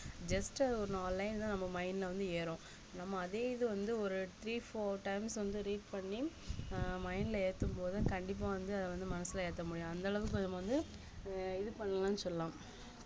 just ஒரு நாலு line தான் நம்ம mind ல வந்து ஏறும் நம்ம அதே இது வந்து ஒரு three four times வந்து read பண்ணி ஆஹ் mind ல ஏத்தும்போது கண்டிப்பா வந்து அத வந்து மனசுல ஏத்த முடியும் அந்த அளவுக்கு நம்ம வந்து அஹ் இது பண்ணலாம்ன்னு சொல்லலாம்